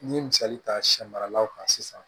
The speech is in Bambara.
N'i ye misali ta sɛ maralaw kan sisan